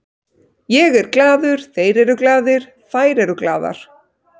Ég er glaður, þeir eru glaðir, þær eru glaðar.